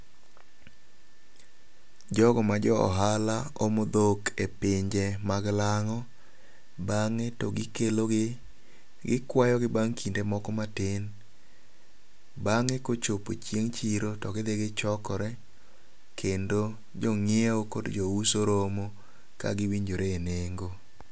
Jogo ma jo ohala omo dhok e pinje mag lang'o. Bang'e to gikelo gi. Gikwayogi bang' kinde moko matin. Bang'e kochopo chieng' chiro to gidhi gichokore kendo jong'iew kod jo uso romo kagiwinjore e nengo.